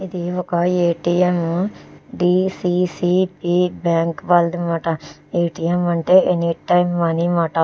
ఇది ఒక A. T. M. D. C. C. B. Bank వాళ్లది అన్నమాట ఏ. టీ. ఎం. అంటే ఎనీ టైం మనీ అన్నమాట.